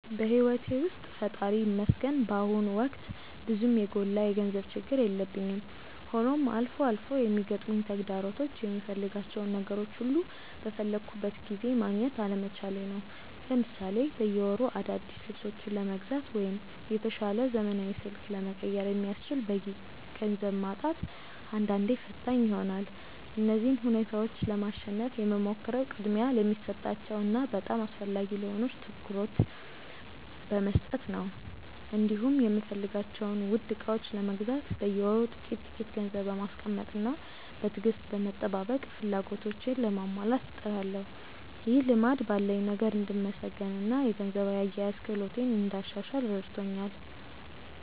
በሕይወቴ ውስጥ ፈጣሪ ይመስገን በአሁኑ ወቅት ብዙም የጎላ የገንዘብ ችግር የለብኝም፤ ሆኖም አልፎ አልፎ የሚገጥሙኝ ተግዳሮቶች የምፈልጋቸውን ነገሮች ሁሉ በፈለግኩት ጊዜ ማግኘት አለመቻሌ ነው። ለምሳሌ በየወሩ አዳዲስ ልብሶችን ለመግዛት ወይም የተሻለ ዘመናዊ ስልክ ለመቀየር የሚያስችል በቂ ገንዘብ ማጣት አንዳንዴ ፈታኝ ይሆናል። እነዚህን ሁኔታዎች ለማሸነፍ የምሞክረው ቅድሚያ ለሚሰጣቸው እና በጣም አስፈላጊ ለሆኑ ነገሮች ትኩረት በመስጠት ነው፤ እንዲሁም የምፈልጋቸውን ውድ ዕቃዎች ለመግዛት በየወሩ ጥቂት ጥቂት ገንዘብ በማስቀመጥና በትዕግስት በመጠባበቅ ፍላጎቶቼን ለማሟላት እጥራለሁ። ይህ ልማድ ባለኝ ነገር እንድመሰገንና የገንዘብ አያያዝ ክህሎቴን እንዳሻሽል ረድቶኛል።